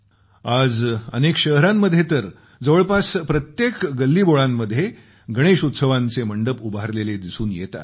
आज अनेक शहरांमध्ये तर जवळपास प्रत्येक गल्लीबोळांमध्ये गणेश उत्सवांचे मंडप उभारलेले दिसून येतात